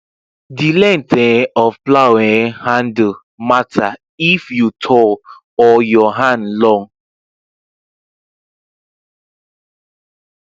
the length um of plow um handle matter if you tall or your hand long